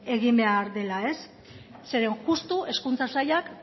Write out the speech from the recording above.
egin behar dela zeren justu hezkuntza sailak